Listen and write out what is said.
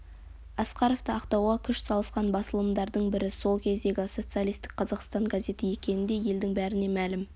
асқаровты ақтауға күш салысқан басылымдардың бірі сол кездегі социалистік қазақстан газеті екені де елдің бәріне мәлім